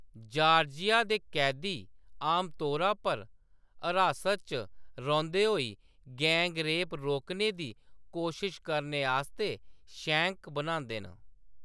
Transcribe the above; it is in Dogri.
जॉर्जिया दे कैदी आमतौरा पर हरासत च रौंह्‌‌‌दे होई गैंग रेप रोकने दी कोशश करने आस्तै "शैंक" बनांदे न।